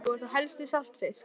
Það var þá helst við saltfisk.